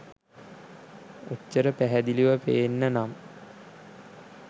ඔච්චර පැහැදිලිව පේන්න නම්